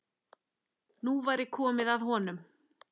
Nú væri komið að honum.